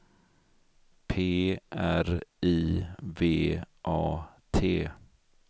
P R I V A T